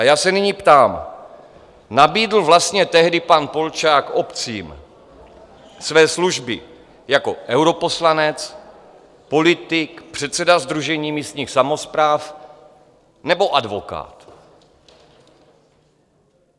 A já se nyní ptám: Nabídl vlastně tehdy pan Polčák obcím své služby jako europoslanec, politik, předseda Sdružení místních samospráv, nebo advokát?